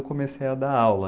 Eu comecei a dar aula.